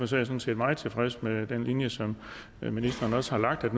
sådan set meget tilfreds med den linje som ministeren også har lagt ved at